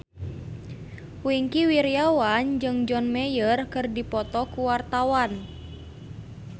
Wingky Wiryawan jeung John Mayer keur dipoto ku wartawan